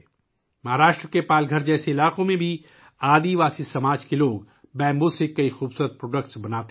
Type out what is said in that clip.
مہاراشٹر کے پال گھر جیسے علاقوں میں بھی قبائلی سماج کے لوگ بانس سے بہت سی خوبصورت چیزیں بناتے ہیں